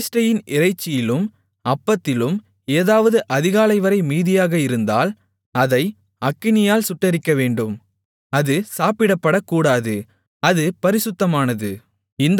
பிரதிஷ்டையின் இறைச்சியிலும் அப்பத்திலும் ஏதாவது அதிகாலைவரை மீதியாக இருந்ததால் அதை அக்கினியால் சுட்டெரிக்கவேண்டும் அது சாப்பிடப்படக்கூடாது அது பரிசுத்தமானது